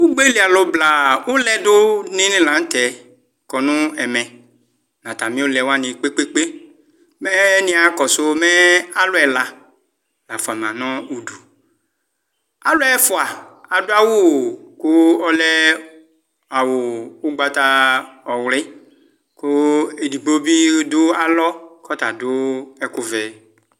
ugbelialu bla uledu dinilanute kɔneme ɑtamiulewani kpekpekpe mee niakɔsi meɑluela fuamanudu uluɛfua ɑdu ɑwu ku ɔle awu ugbata ɔwli ku ɛdigbo bi du ɑlo ku ɔtadu ɛkuvɛ